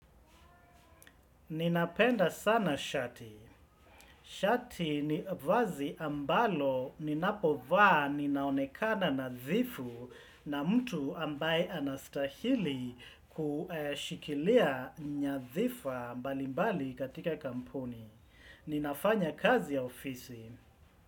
Ninapenda sana shati. Shati ni vazi ambalo ninapovaa ninaonekana nadhifu na mtu ambaye anastahili kushikilia nyadhifa mbalimbali katika kampuni. Ninafanya kazi ya ofisi.